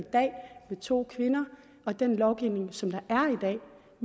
i to kvinder og den lovgivning som der